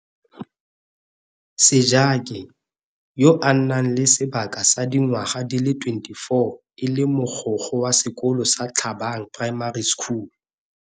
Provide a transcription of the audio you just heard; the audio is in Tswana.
Sejake, yo a nang le sebaka sa dingwaga di le 24 e le Mogokgo wa sekolo sa Thabang Primary School.